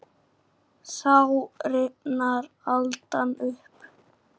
Þá rifnar aldan upp.